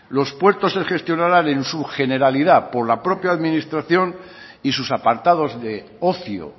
los puertos se gestionarán en su generalidad por la propia administración y sus apartados de ocio